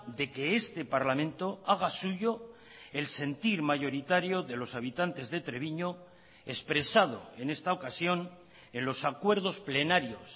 de que este parlamento haga suyo el sentir mayoritario de los habitantes de treviño expresado en esta ocasión en los acuerdos plenarios